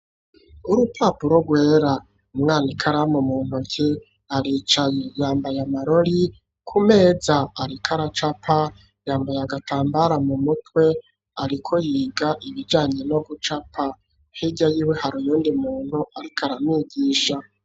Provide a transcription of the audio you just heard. Urupapuro rwera umwana ikaramu mu ntoke aricaye yambaye amarori ku meza ariko aracapa yambaye agatambara mu mutwe ariko yiga ibijanye no gucapa hirya yiwe hariyo undi muntu ariko aramwigisha.